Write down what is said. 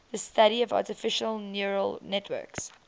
the study of artificial neural networks